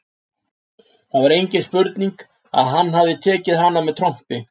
Það var engin spurning að hann hafði tekið hana með trompi.